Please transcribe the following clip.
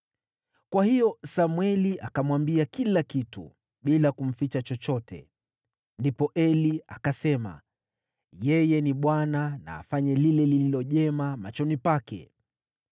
Kwa hiyo Samweli akamwambia kila kitu, bila kumficha chochote. Ndipo Eli akasema, “Yeye ni Bwana ; na afanye lile lililo jema machoni pake!”